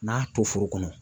N'a to foro kɔnɔ